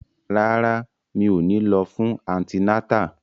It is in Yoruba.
Rárá, mi ò ní lọ fún antinátà